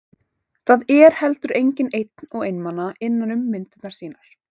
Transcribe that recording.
Það er heldur enginn einn og einmana innan um myndirnar mínar.